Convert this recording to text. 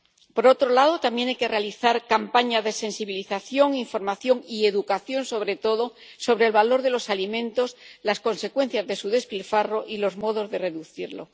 Por otro lado, también hay que realizar campañas de sensibilización, información y educación, sobre todo, sobre el valor de los alimentos, las consecuencias de su despilfarro y los modos de reducirlo.